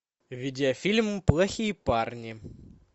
видеофильм плохие парни